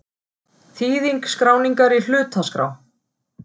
Þýðing skráningar í hlutaskrá.